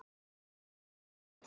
Þinn Davíð.